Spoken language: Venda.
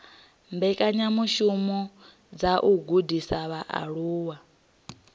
mbekanyamishumo dza u gudisa vhaaluwa